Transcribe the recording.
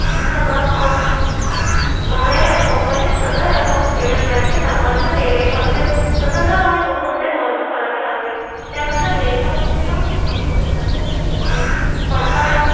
पण आह होण्यास company सदर account schedulebank त लाभांश देणे खाते स्वतंत्रपणे घेऊन त्यात वर्ग करावी लागेल. त्यानंतर देय असलेला खात्यामधून योग्य पडताळणी